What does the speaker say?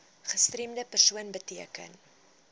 gestremde persoon beteken